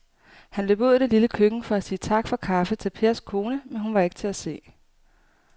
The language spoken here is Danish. Han løb ud i det lille køkken for at sige tak for kaffe til Pers kone, men hun var ikke til at se.